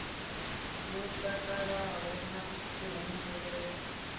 wo takalaho na kuhumbulele kune